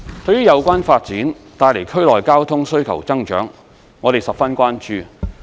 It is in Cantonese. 對於有關發展帶來區內交通需求增長，我們十分關注。